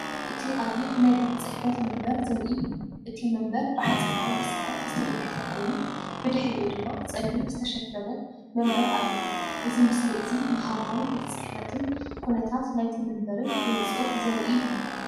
እቲ ቀይሕ ናይ ቤት ጽሕፈት መንበር ዘርኢ እዩ። እቲ መንበር ብሓጺናዊ መሰረት ዝተደገፈ ኮይኑ፡ ብድሕሪኡ ድማ ጸሊም ዝተሸፈነ መንበር ኣሎ። እዚ ምስሊ እዚ ንሃዋህው ቤት ጽሕፈትን ኩነታት ናይቲ መንበርን ብንጹር ዘርኢ እዩ።